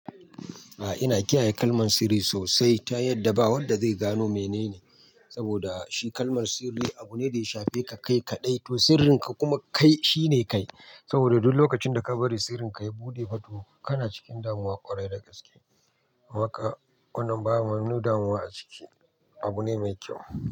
A ina kiyaye kalman sirri sosai ta yadda ba wanda zai gano menene. Saboda shi kalman sirri abu ne da ya shafe ka kai kaɗai to sirrinka kuma kai shine kai. Saboda duk lokacin da ka bari sirrinka ya buɗe fa to kana cikin damuwa ƙwarai da gaske. Waka wannan ba wani damuwa a ciki abu ne mai kyau.